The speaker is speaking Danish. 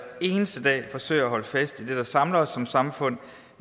eneste dag forsøger at holde fast i det der samler os som samfund